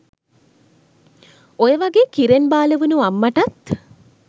ඔයවගේ කිරෙන් බාල වුන අම්මටත්